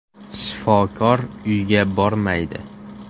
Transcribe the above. Shifokor uyga bormaydi.